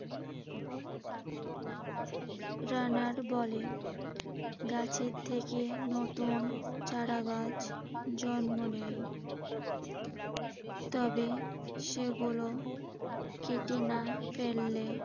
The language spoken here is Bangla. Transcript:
রানার বলে। গাছের থেকে নতুন চারাগাছ জন্ম নেয়। তবে সেগুলো কেটে না ফেললে